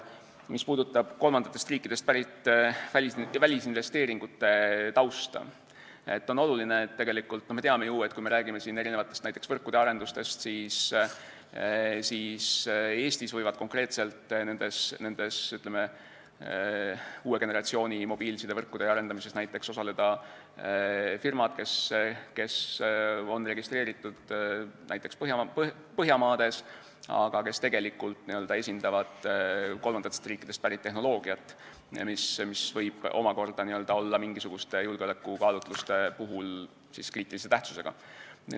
Mis puudutab kolmandatest riikidest pärit välisinvesteeringute tausta, siis on oluline, kui me räägime siin näiteks võrkude arendamisest, et Eestis võivad konkreetselt nendes uue generatsiooni mobiilsidevõrkude arendamises osaleda firmad, kes on registreeritud näiteks Põhjamaades, aga kes tegelikult n-ö esindavad kolmandatest riikidest pärit tehnoloogiat, mis võib omakorda olla mingisuguste julgeolekukaalutluste puhul kriitilise tähtsusega.